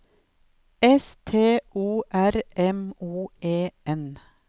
S T O R M O E N